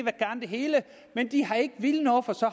hele men de har ikke villet noget for så